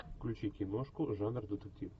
включи киношку жанр детектив